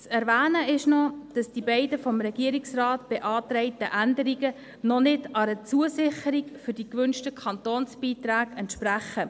Zu erwähnen ist noch, dass die beiden vom Regierungsrat beantragten Änderungen noch nicht einer Zusicherung der gewünschten Kantonsbeiträge entsprechen.